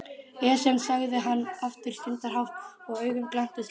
Esjan sagði hann aftur stundarhátt og augun glenntust upp.